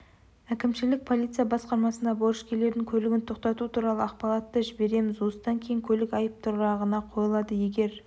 әкімшілік полиция басқармасына борышкерлердің көлігін тоқтату туралы ақпаратты жібереміз осыдан кейін көлік айып тұрағына қойылады егер